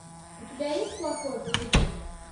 у тебя есть плохое поведение